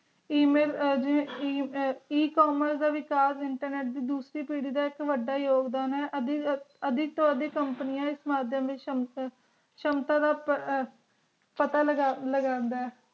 e mail e commerce ਜਿਡਾ internet ਦੀ ਦੋਸਾਰੀ ਪਾਰੀ ਆ ਬੋਹਤ ਵਾਦਾ ਯੋਉਘ੍ਦਾਂ ਆ ਆਦਿ ਵਾਦੀ company ਆ ਅੰਦਾ ਨਾਲ ਦੀ ਸ਼ਮਸਾ ਦਾ ਪਤਾ ਲਗਾਂਦਾ ਆ